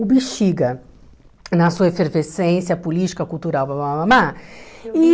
O bexiga, na sua efervescência política, cultural, blá, blá, blá blá e